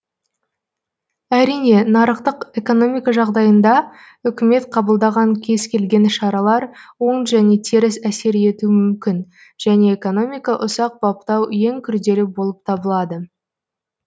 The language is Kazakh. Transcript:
әрине нарықтық экономика жағдайында үкімет қабылдаған кез келген шаралар оң және теріс әсер етуі мүмкін және экономика ұсақ баптау ең күрделі болып табылады